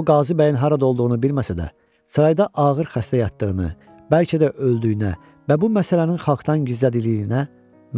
O Qazi bəyin harada olduğunu bilməsə də, sarayda ağır xəstə yatdığını, bəlkə də öldüyünə və bu məsələnin xalqdan gizlədildiyinə